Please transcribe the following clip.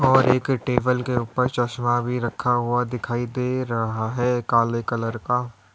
और एक टेबल के ऊपर चश्मा भी रखा हुआ दिखाई दे रहा है काले कलर का।